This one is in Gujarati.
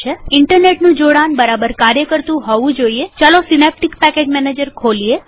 વળી ઈન્ટરનેટનું જોડાણ બરાબર કાર્ય કરતુ હોવું જોઈએતો ચાલો પહેલા સીનેપ્ટીક પેકેજ મેનેજરને ખોલીએ